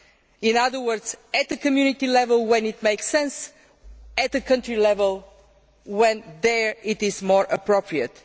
In other words, at Community level when it makes sense and at the country level when it is more appropriate.